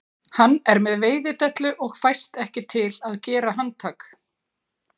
Hann er með veiðidellu og fæst ekki til að gera handtak